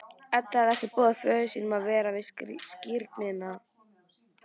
Edda hafði ekki boðið föður sínum að vera við skírnina.